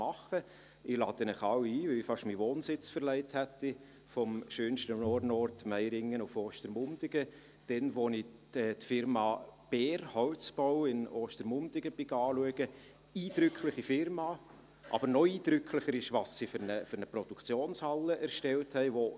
Ich lade Sie alle ein, weil ich fast meinen Wohnsitz verlegt hätte – vom schönsten Ort, in Meiringen, nach Ostermundigen – als ich die Firma Beer Holzbau in Ostermundigen anschauen ging – eine eindrückliche Firma, aber noch eindrücklicher ist, was für eine Produktionshalle sie erstellt hat: